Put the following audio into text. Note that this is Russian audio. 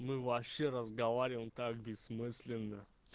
мы вообще разговариваем так бессмысленно